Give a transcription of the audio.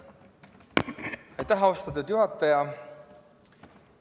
Aitäh, austatud juhataja!